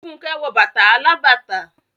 Fúnkẹ́ wọ bàtà alábàtà.